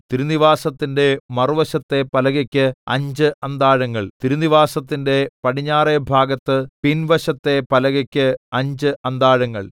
തിരുനിവാസത്തിന്റെ മറുവശത്തെ പലകയ്ക്ക് അഞ്ച് അന്താഴങ്ങൾ തിരുനിവാസത്തിന്റെ പടിഞ്ഞാറെ ഭാഗത്ത് പിൻവശത്തെ പലകയ്ക്ക് അഞ്ച് അന്താഴങ്ങൾ